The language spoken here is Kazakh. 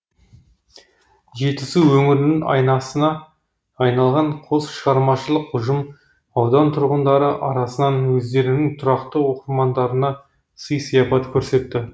жетісу өңірінің айнасына айналған қос шығармашылық ұжым аудан тұрғындары арасынан өздерінің тұрақты оқырмандарына сый сияпат көрсетті